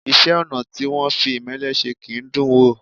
Iṣẹ́-ọnà̀ tí wọ́n fi ìmẹ́lẹ́ se kì í dùn ún wò.